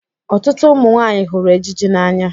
Ọtụtụ ụmụ nwanyị hụrụ ejiji n'anya